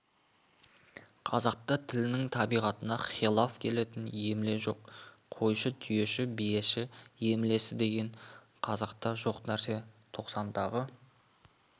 қазақта тілінің табиғатына хилаф келетін емле жоқ қойшы түйеші биеші емлесі деген қазақта жоқ нәрсе тоқсандағы